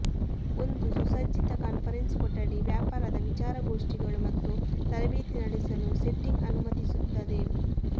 ಒಂದು ಸುಸಜ್ಜಿತ ಕಾನ್ಫರೆನ್ಸ್ ಕೊಠಡಿ ವ್ಯಾಪಾರದ ವಿಚಾರಗೋಷ್ಠಿಗಳು ಮತ್ತು ತರಬೇತಿ ನಡೆಸಲು ಸೆಟ್ಟಿಂಗ್ ಅನುಮತಿಸುತ್ತದೆ